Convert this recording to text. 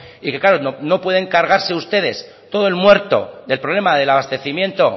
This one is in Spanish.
y que claro no pueden cargarse ustedes todo el muerto del problema del abastecimiento